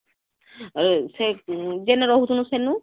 ଅ ଯେନ ରହୁଥିଲୁ ସେନୁ